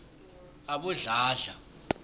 abodladla